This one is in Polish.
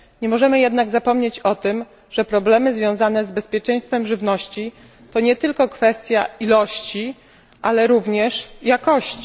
Nie możemy jednak zapomnieć o tym, że problemy związane z bezpieczeństwem żywności to nie tylko kwestia ilości, ale również jakości.